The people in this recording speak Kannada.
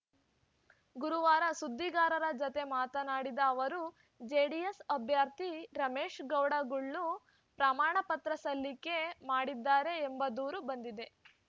ಗುರುವಾರ ಸುದ್ದಿಗಾರರ ಜತೆ ಮಾತನಾಡಿದ ಅವರು ಜೆಡಿಎಸ್‌ ಅಭ್ಯರ್ಥಿ ರಮೇಶ್‌ಗೌಡ ಗುಳ್ಳು ಪ್ರಮಾಣ ಪತ್ರ ಸಲ್ಲಿಕೆ ಮಾಡಿದ್ದಾರೆ ಎಂಬ ದೂರು ಬಂದಿದೆ